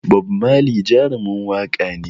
Bob Marley Jarumin waƙa ne